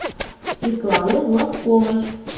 светланы глазковой